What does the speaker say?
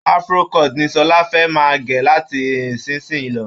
Afro-cut ni Sọlá fẹ́ máa gẹ̀ láti ìsinsìnyí lọ